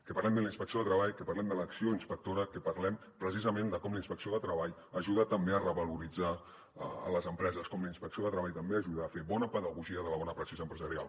que parlem de la inspecció de treball que parlem de l’acció inspectora que parlem precisament de com la inspecció de treball ajuda també a revaloritzar les empreses com la inspecció de treball també ajuda a fer bona pedagogia de la bona praxi empresarial